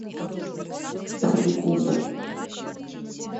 серекунда